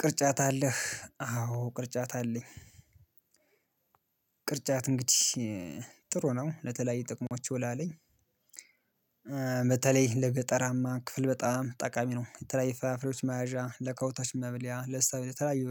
ቅርጫት አለህ አዎ ቅርጫት አለኝ ቅርጫት እንግዲህ ጥሩ ነው ለተለያየ ጥቅሞች ይውላል። በተለይ ለገጠራማ ክፍል በጣም ጠቃሚ ነው የተለያዩ ፍራፍሬዎች መያዣ ለከብቶች መብያ ለሰብል የተለያዩ